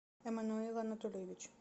эммануил анатольевич